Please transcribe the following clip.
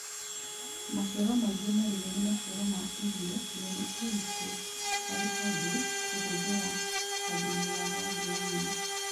Maciaro maingĩ marĩme nĩ maciaro ma irio na nĩ ũritũ harĩ andũ kũhũthĩra ta thumu wa rangi wa nyeni